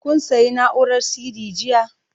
Kun sayi na'urar CD jiya?